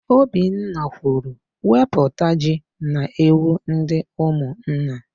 Obinna kwuru, "wepụta ji na ewu ndị ụmụnna"!